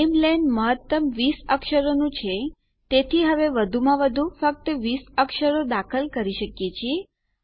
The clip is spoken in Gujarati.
નામેલેન મહત્તમ 20 અક્ષરોનું છે તેથી અહીં વધુમાં વધુ ફક્ત 20 અક્ષરો દાખલ કરી શકીએ છીએ